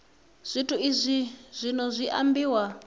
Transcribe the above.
zwithu izwi zwino zwi ambiwa